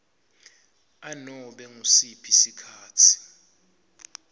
anobe ngusiphi sikhatsi